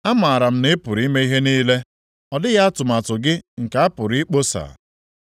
“Amara m na ị pụrụ ime ihe niile; ọ dịghị atụmatụ gị nke a pụrụ ikposa.